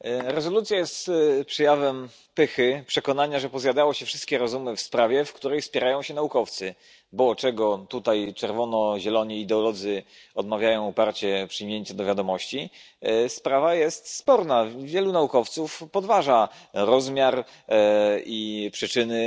Rezolucja jest przejawem pychy przekonania, że pozjadało się wszystkie rozumy w sprawie, w której spierają się naukowcy, bo to, czego tutaj czerwono zieloni ideolodzy uparcie odmawiają, to przyjęcie do wiadomości, że sprawa jest sporna. Wielu naukowców podważa rozmiar i przyczyny